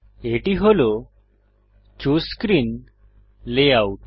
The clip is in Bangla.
এটি হল চুসে স্ক্রিন লেআউট